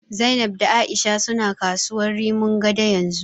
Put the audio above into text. Zainab da A'isha suna kasuwar Rimin Gado yanzu.